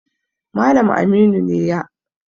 Malam Aminu ne ya